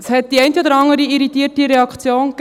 Es gab die eine oder andere irritierte Reaktion.